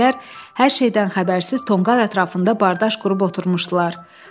Keşişçilər hər şeydən xəbərsiz tonqal ətrafında bardaş qurub oturmuşdular.